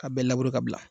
A bɛɛ labure ka bila